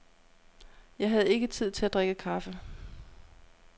Jeg havde ikke tid til at drikke kaffe.